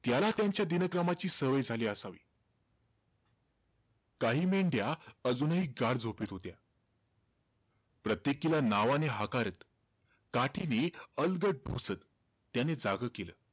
त्याला त्यांच्या दिनक्रमाची सवय झाली असावी. काही मेंढ्या अजूनही गाढ झोपेत होत्या. प्रत्येकीला नावाने हाकारात, काठीने अलगद ढोसत त्याने जागं केलं.